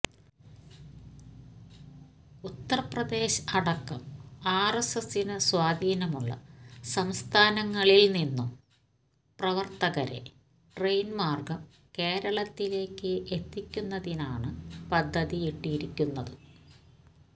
ഉത്തർപ്രദേശ് അടക്കം ആർഎസ്എസിനു സ്വാധീനമുള്ള സസംസ്ഥാനങ്ങളിൽ നിന്നും പ്രവർത്തകരെ ട്രെയിൻ മാർഗം കേരളത്തിലേയ്ക്ക് എത്തിക്കുന്നതിനാണ് പദ്ധതിയിട്ടിരിക്കുന്നത്